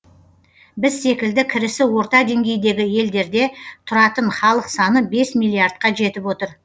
біз секілді кірісі орта деңгейдегі елдерде тұратын халық саны бес миллиардқа жетіп отыр